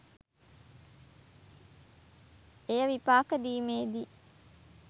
එය විපාක දීමේ දී